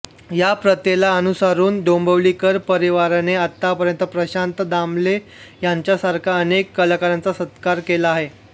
या प्रथेला अनुसरून डोंबिवलीकर परिवाराने आतापर्यंत प्रशांत दामले यांच्यासारख्या अनेक कलाकारांचा सत्कार केला आहे